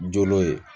Jo ye